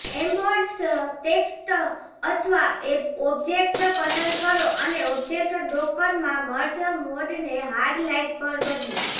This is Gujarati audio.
એમ્બોઝ્ડ ટેક્સ્ટ અથવા ઑબ્જેક્ટ પસંદ કરો અને ઓબ્જેક્ટ ડોકરમાં મર્જ મોડને હાર્ડ લાઇટ પર બદલો